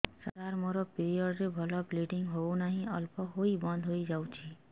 ସାର ମୋର ପିରିଅଡ଼ ରେ ଭଲରେ ବ୍ଲିଡ଼ିଙ୍ଗ ହଉନାହିଁ ଅଳ୍ପ ହୋଇ ବନ୍ଦ ହୋଇଯାଉଛି